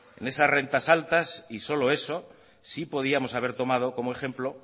en esas rentas altas y solo eso sí podíamos haber tomado como ejemplo